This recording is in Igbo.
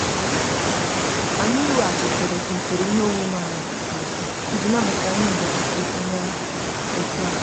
anyị weghachitere usoro ihe omume anyị azụ iji nabata ihe mberede onye otu anyị.